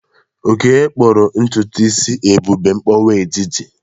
Oke kpụrụ ntutu isi Ebube mkpọwa etiti.